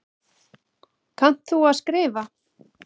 Kannt þú að skrifa?